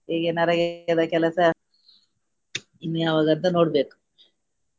ಈಗ ನರೇಗದ ಕೆಲಸ ಇನ್ನು ಯಾವಾಗ ಅಂತ ನೋಡ್ಬೇಕು.